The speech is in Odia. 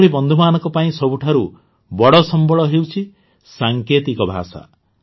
ଏଭଳି ବନ୍ଧୁମାନଙ୍କ ପାଇଁ ସବୁଠାରୁ ବଡ଼ ସମ୍ବଳ ହେଉଛି ସାଙ୍କେତିକ ଭାଷା